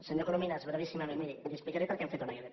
senyor corominas brevíssimament miri li explicaré per què hem fet una ilp